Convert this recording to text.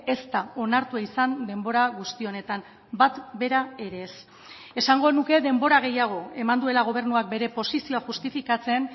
ez da onartua izan denbora guzti honetan bat bera ere ez esango nuke denbora gehiago eman duela gobernuak bere posizioa justifikatzen